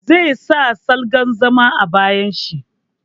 Zai sa salgan zaman a bayin shi.